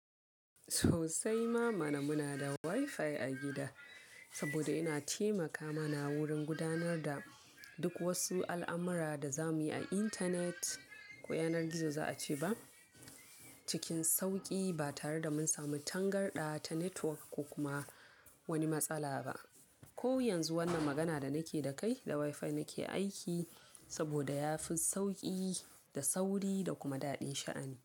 Sosai mama na muna da Wi-Fi a gida, saboda yana taimaka mana wurin gudanar da duk wasu al'amura da za mu yi a intanet ko yanar gizo za a ce ba, cikin sauƙi ba tare da mun samu tangarɗa ta network ko kuma wani matsala ba. Ko yanzu wannan magana da nake da kai da Wi-Fi nake aiki saboda ya fi sauƙi da sauri da kuma daɗin sha'ani.